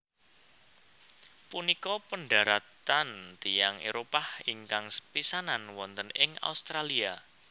Punika pendaratan tiyang Éropah ingkang sepisanan wonten ing Australia